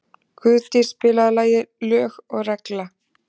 Guðdís, spilaðu lagið „Lög og regla“.